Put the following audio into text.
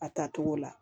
A tacogo la